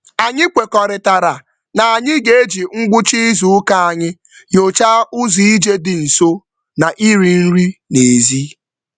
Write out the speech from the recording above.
Anyị kwekọrịtara na anyị ga-eji ngwụcha izuụka anyị nyochaa ụzọ ije dị nso na iri nri n'ezi.